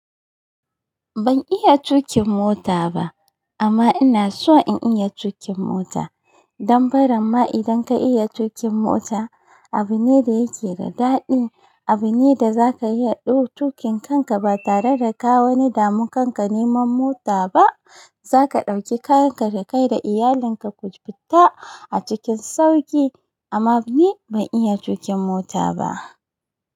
Ban iya tuƙin mota ba amma ina so in iya tuƙin mota. Dan barimma idan ka iya tuƙin mota abu ne da yake da daɗi. Abu ne da zaka iya ɗau tuƙin kanka ba tare da ka wani damu kanka neman mota ba. Zaka ɗauki kayanka da kai da iyalinka ku fita a cikin sauƙi. Amma ni ban iya tuƙin mota ba.